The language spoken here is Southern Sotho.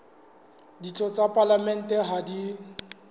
ditho tsa palamente ha di